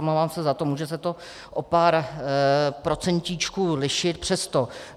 Omlouvám se za to, může se to o pár procentíčků lišit, přesto.